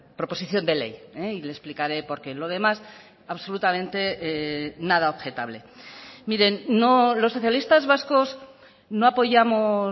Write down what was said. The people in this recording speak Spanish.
proposición de ley y le explicaré porqué lo demás absolutamente nada objetable miren los socialistas vascos no apoyamos